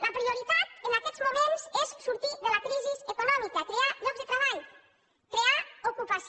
la prioritat en aquests moments és sortir de la crisi econòmica crear llocs de treball crear ocupació